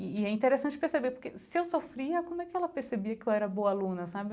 E e é interessante perceber, porque se eu sofria, como é que ela percebia que eu era boa aluna, sabe?